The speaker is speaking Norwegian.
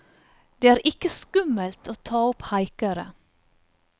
Det er ikke skummelt å ta opp haikere.